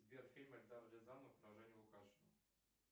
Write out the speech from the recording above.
сбер фильм эльдара рязанова про женю лукашина